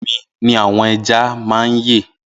Inú ọmi ni àwọn eja ma yẹ